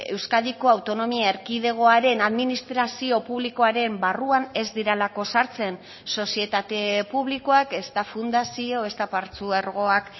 euskadiko autonomia erkidegoaren administrazio publikoaren barruan ez direlako sartzen sozietate publikoak ezta fundazio ezta partzuergoak